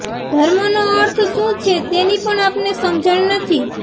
ધર્મનો અર્થ શું છે તેની પણ આપણને સમજણ નથી